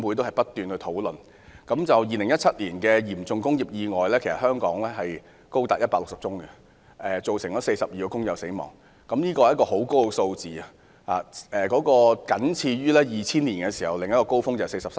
香港在2017年的嚴重工業意外數目高達160宗，造成42名工友死亡，這個傷亡數字奇高，僅次於2000年的43宗。